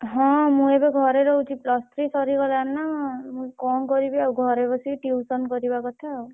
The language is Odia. ହଁ ମୁ ଏବେ ଘରେ ରହୁଛି plus three ସରିଗଲାଣି ନା ମୁଁ କଣ କରିବି ଆଉ ଘରେ ବସିକି tuition କରିବା କଥା ଆଉ।